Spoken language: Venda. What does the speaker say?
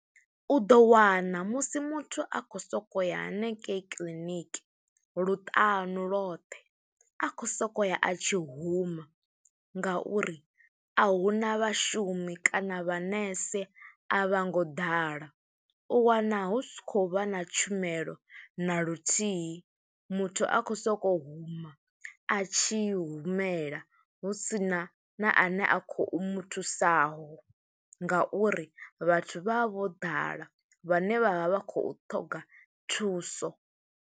U ḓo wana musi muthu a khou sokou ya hanengei kiḽiniki luṱanu lwothe, a khou sokou ya, a tshi huma, nga uri a huna vhashumi kana vhanese a vha ngo ḓala. U wana hu si khou vha na tshumelo na luthihi, muthu a khou sokou huma a tshi humela, hu sina na a ne a khou muthusaho, nga uri vhathu vha vha vho ḓala, vhane vha vha vha khou ṱhoga thuso.